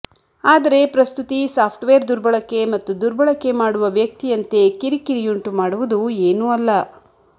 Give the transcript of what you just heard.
ಆದರೆ ಪ್ರಸ್ತುತಿ ಸಾಫ್ಟ್ವೇರ್ ದುರ್ಬಳಕೆ ಮತ್ತು ದುರ್ಬಳಕೆ ಮಾಡುವ ವ್ಯಕ್ತಿಯಂತೆ ಕಿರಿಕಿರಿಯುಂಟುಮಾಡುವುದು ಏನೂ ಅಲ್ಲ